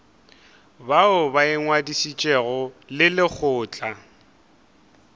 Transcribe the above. bao ba ingwadišitšego le lekgotla